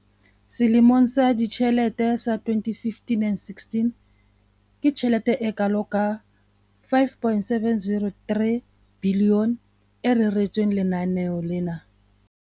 Selemong sa ditjhelete sa 2015 and16, ke tjhelete e kalo ka R5 703 bilione e reretsweng lenaneo lena.